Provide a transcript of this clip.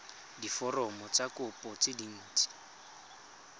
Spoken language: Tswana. diforomo tsa kopo tse dint